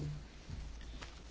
Panie Przewodniczący!